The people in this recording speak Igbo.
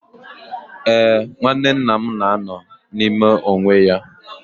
Ee, nwanne nna m na-anọ n'ime onwe ya